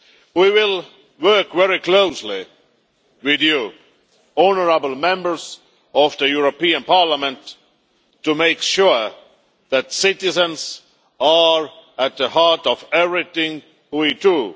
We will work very closely with you, honourable Members of the European Parliament to make sure that citizens are at the heart of everything we do.